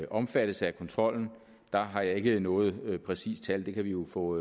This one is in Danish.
omfattes af kontrollen har jeg ikke noget præcist tal det kan vi jo få